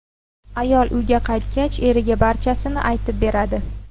Ayol uyga qaytgach, eriga barchasini aytib beradi.